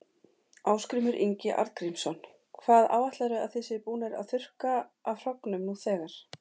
Ásgrímur Ingi Arngrímsson: Hvað áætlarðu að þið séuð búnir að þurrka af hrognum nú þegar?